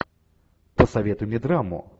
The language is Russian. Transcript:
посоветуй мне драму